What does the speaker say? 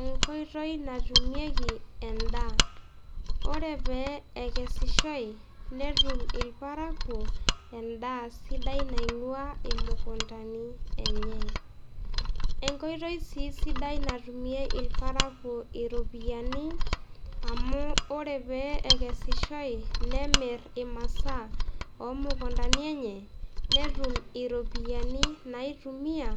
Enkoitoi natumieki endaa Ore pee ekesishoi, netum irparakuo endaa sidai naing'uaa imukuntani enye. Enkoitoi sii sidai natumie irparakuo irpoyiani, amuu ore pee ekesishoi, nemir imasaa oomukuntani enye, netum iropiyiani naaitumia